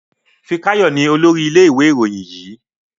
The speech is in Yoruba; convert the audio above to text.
Fikayo ní olórí ilé ìwé Ìròyìn yí.